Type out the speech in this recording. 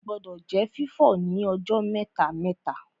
Ilé-ìwẹ̀ gbọdọ̀ jẹ́ fífọ̀ ní ọjọ́ mẹ́ta-mẹ́ta